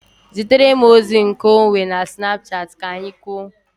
Zitere m ozi nke onwe na Snapchat ka anyị kwuo